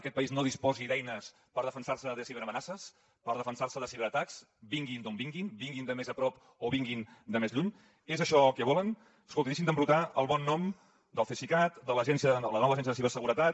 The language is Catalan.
aquest país no disposi d’eines per defensar se de ciberamenaces per defensar se de ciberatacs vinguin d’on vinguin vinguin de més a prop o vinguin de més lluny és això el que volen escolti deixin d’embrutar el bon nom del cesicat de la nova agència de ciberseguretat